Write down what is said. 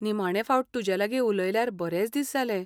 निमाणें फावट तुजेलागीं उलयल्यार बरेच दिस जाले.